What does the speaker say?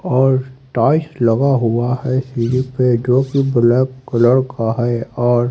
और टाइल्स लगा हुआ है सीढ़ी पे जोकि ब्लैक कलर का है और--